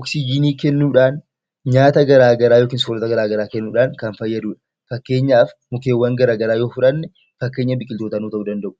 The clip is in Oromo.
oksijiinii kennuudhaan nyaata garaagaraa kennuudhaan kan fayyadudha. Fakkeenyaaf mukkeewwan garaagaraa yoo fudhanne, fakkeenya biqiltootaa ta'uu danda'u.